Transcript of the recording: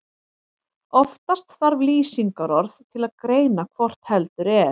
Oftast þarf lýsingarorð til að greina hvort heldur er.